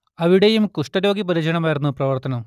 അവിടേയും കുഷ്ടരോഗി പരിചരണമായിരുന്നു പ്രവർത്തനം